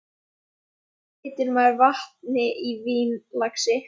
Svona breytir maður vatni í vín, lagsi.